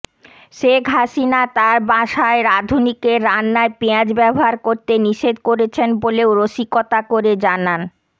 শেখ হাসিনা তার বাসায় রাঁধুনিকে রান্নায় পেঁয়াজ ব্যবহার করতে নিষেধ করেছেন বলেও রসিকতা করে জানান